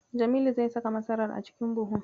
Jamilu zai saka masarar a cikin buhun.